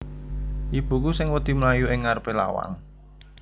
Ibuku sing wedi mlayu ing ngarepe lawang